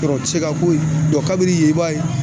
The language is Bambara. Yɔrɔ tɛ se ka ko ye? kabinin yen i b'a ye